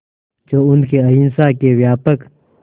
जो उनके अहिंसा के व्यापक